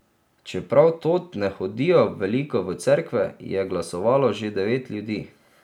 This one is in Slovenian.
Čeprav tod ne hodijo veliko v cerkve, je glasovalo že devet ljudi.